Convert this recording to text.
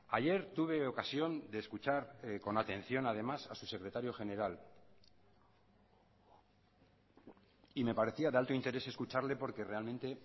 ayer tuve ocasión de escuchar con atención además a su secretario general y me parecía de alto interés escucharle porque realmente